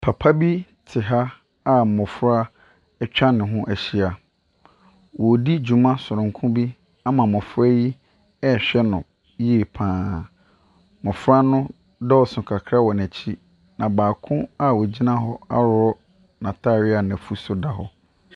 Papa bi te ha a mmɔfra atwa ne ho ahyia. Ɔredi dwuma sononko bi ama mmɔfra yi rehwɛ no yie pa ara. Mmɔfra no dɔɔso kakra wɔ n'akyi, na baako a ɔgyina hɔ aworɔ n'atadeɛ a n'afuru so da hɔ.